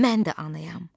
Mən də anayam.